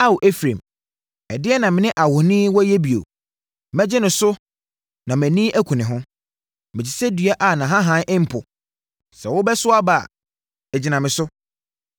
Ao, Efraim ɛdeɛn na me ne ahoni wɔ yɛ bio? Mɛgye no so na mʼani aku ne ho. Mete sɛ dua a nʼahahan mpo; sɛ wobɛso aba a, ɛgyina me so.”